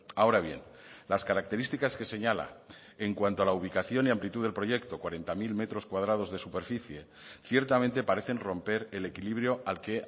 ahora bien las características que señala en cuanto a la ubicación y amplitud del proyecto cuarenta mil metros cuadrados de superficie ciertamente parecen romper el equilibrio al que